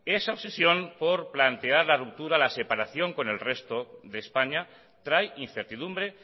esa obsesión por plantear la ruptura la separación con el resto de españa trae incertidumbre